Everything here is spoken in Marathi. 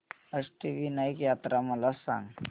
अष्टविनायक यात्रा मला सांग